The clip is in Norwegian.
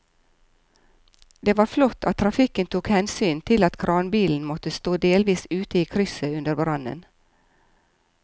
Det var flott at trafikken tok hensyn til at kranbilen måtte stå delvis ute i krysset under brannen.